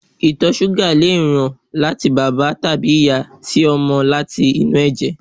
ìtọ̀ súgà lè ràn láti bàbá tàbí ìyá sí ọmọ láti inú ẹ̀jẹ̀